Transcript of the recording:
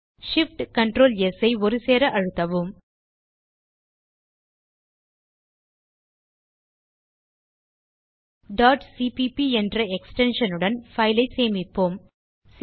Shift Ctrl மற்றும் S key ஐ ஒருசேர அழுத்தவும் cpp என்ற எக்ஸ்டென்ஷன் உடன் பைல் ஐ சேமிப்போம்